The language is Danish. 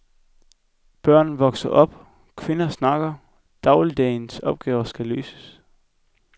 Børn vokser op, kvinder snakker, dagligdagens opgaver skal løses.